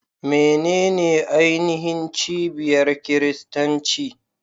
Menene ainihin cibiyar Kiristanci?